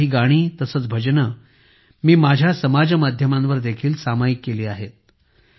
यातील काही गाणी तसेच भजने मी माझ्या समाजमाध्यमांवर देखील सामायिक केली आहेत